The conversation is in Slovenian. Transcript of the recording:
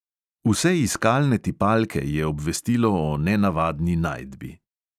Vse iskalne tipalke je obvestilo o nenavadni najdbi.